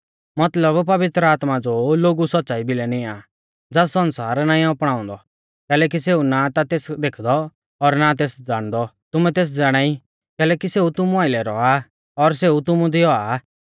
मतलब पवित्र आत्मा ज़ो लोगु सौच़्च़ाई भिलै निंया आ ज़ास सण्सार नाईं अपणाउंदौ कैलैकि सेऊ ना ता तेस देखदौ और ना तेस ज़ाणदौ तुमै तेस ज़ाणाई कैलैकि सेऊ तुमु आइलै रौआ आ और सेऊ तुमु दी औआ